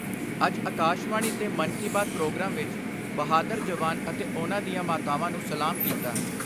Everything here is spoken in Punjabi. ਅੱਜ ਅਕਾਸ਼ਵਾਣੀ ਤੇ ਮਨ ਕੀ ਬਾਤ ਪ੍ਰੋਗਰਾਮ ਵਿਚ ਬਹਾਦਰ ਜਵਾਨ ਅਤੇ ਉਨ੍ਹਾਂ ਦੀਆਂ ਮਾਤਾਵਾਂ ਨੂੰ ਸਲਾਮ ਕੀਤਾ।